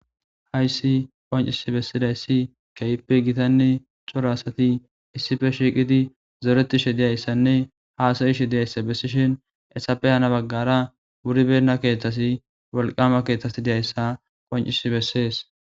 Hayssi qoncisi bessidayssi kehippe gitanne cora asati issippe shiiqidi zoretishe diyayssanne haasayishe diyayssa bessishin hesappe hano baggara wuribenna keeththa wolqama keeththa diyayssa qoncisi bessees.